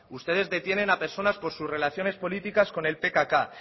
ustedes detienen a personas por sus relaciones políticas con el pkk